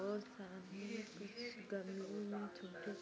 बहुत सारी कुछ गर्मियों मे छुट्टी--